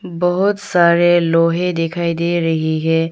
बहुत सारे लोहे दिखाई दे रही है।